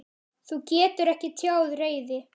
Þú getur ekki tjáð reiði.